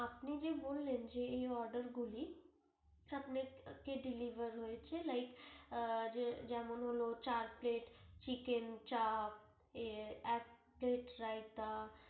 আপনি যে বললেন যে এই order গুলি Deliver হয়েছে Like যেমন হল চার plate Chicken চাপ এক plate রায়তা।